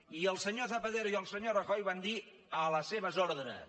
i el senyor zapatero i el senyor rajoy van dir a les seves ordres